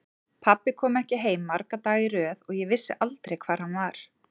Pabbi kom ekki heim marga daga í röð og ég vissi aldrei hvar hann var.